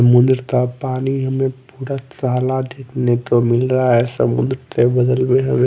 समुंद्र का पानी हमें पूरा काला देखने को मिल रहा है समुद्र के बगल में हमें--